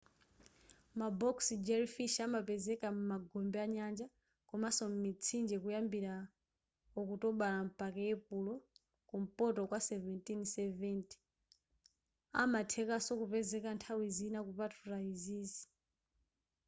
ma box jellyfish amapezeka m'magombe anyanja komanso mitsinje kuyambila okutobala mpaka epulo kumpoto kwa 1770 amathekanso kupezeka nthawi zina kupatula izizi